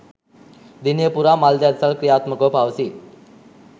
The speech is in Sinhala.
දිනය පුරා මල් දන්සැල් ක්‍රියාත්මකව පවතී